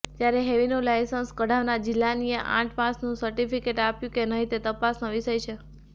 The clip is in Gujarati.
ત્યારે હેવીનું લાઇસન્સ કઢાવનાર જિલાનીએ આઠ પાસનું ર્સિટફિકેટ આપ્યું કે નહીં તે તપાસનો વિષય છે